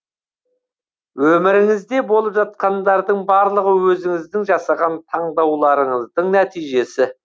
өміріңізде болып жатқандардың барлығы өзіңіздің жасаған таңдауларыңыздың нәтижесі